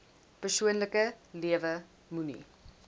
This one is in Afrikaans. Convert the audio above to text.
persoonlike lewe moenie